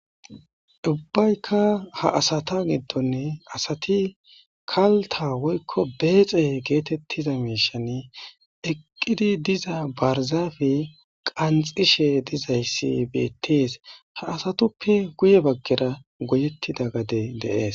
Ubbaykka ha asatha giddonni asathi kalththaa woykko beexe geetheththiza miishshani eqqidi diza barzaafe qanxxishe dizayssi beeththees; ha asathuppe guye baggera goyeththida gadee de7ees.